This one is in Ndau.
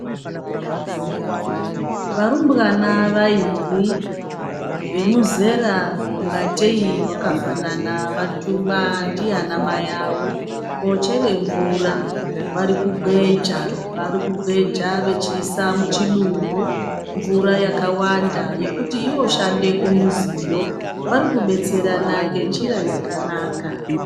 Varumbwana vairi vemuzera ungatei wakafanana vatumwa ndianamai awo koochere mvura. Varikugweja, varikugweja vechiise muchidumbu mvura yakawanda yekuti yooshande kumuziyo. Varikubetserana ngenjira yakanaka.